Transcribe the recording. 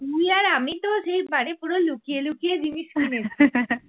তুই আর আমি তো যেইবারে পুরো লুকিয়ে লুকিয়ে জিনিস কিনেছে